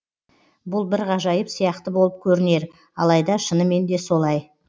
бұл бір ғажайып сияқты болып көрінер алайда шынымен де солай